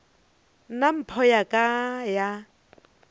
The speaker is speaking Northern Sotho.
nna mpho ya ka ya